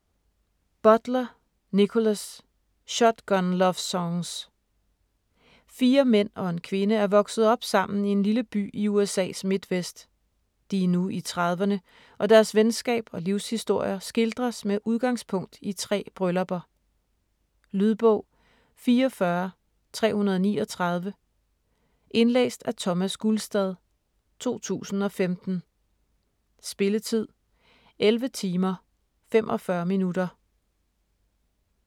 Butler, Nickolas: Shotgun lovesongs Fire mænd og en kvinde er vokset op sammen i en lille by i USA's midtvest. De er nu i trediverne, og deres venskab og livshistorier skildres med udgangspunkt i tre bryllupper. Lydbog 44339 Indlæst af Thomas Gulstad, 2015. Spilletid: 11 timer, 45 minutter.